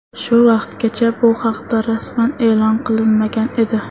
Shu vaqtgacha bu haqda rasman e’lon qilinmagan edi.